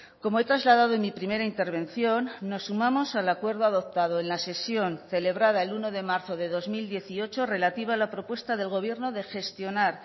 como he trasladado en mi primera intervención nos sumamos al acuerdo adoptado en la sesión celebrada el uno de marzo de dos mil dieciocho relativa a la propuesta del gobierno de gestionar